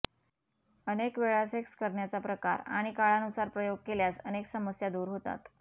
अनेक वेळा सेक्स करण्याचा प्रकार आणि काळानुसार प्रयोग केल्यास अनेक समस्या दूर होतात